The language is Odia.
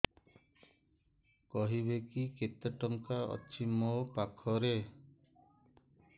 କହିବେକି କେତେ ଟଙ୍କା ଅଛି ମୋ ଖାତା ରେ